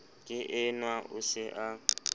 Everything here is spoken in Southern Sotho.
ke enwa o se a